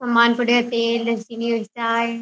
समान पड़यो है तेल चीनी चाय --